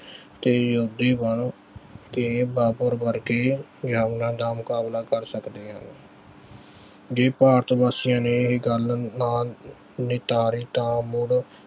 ਤੇ ਤੇ ਬਾਬਰ ਵਰਗੇ ਜ਼ਾਲਮਾਂ ਦਾ ਮੁਕਾਬਲਾ ਕਰ ਸਕਦੇ ਹਨ ਜੇ ਭਾਰਤ ਵਾਸੀਆਂ ਨੇ ਏਹੇ ਗੱਲ ਨਾ ਨਿਤਾਰੀ ਤਾਂ ਮੁੜ